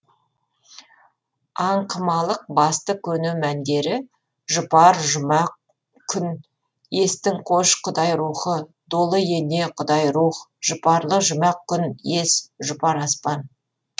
аңқымалық басты көне мәндері жұпар жұмақ күн естің қош құдай рухы долы ене құдай рух жұпарлы жұмақ күн ес жұпар аспан